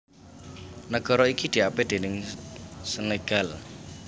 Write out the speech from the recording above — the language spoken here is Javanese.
Nagara iki diapit déning Senegal